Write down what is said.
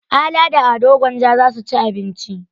Ala da Ado Gwanja za su ci abinci.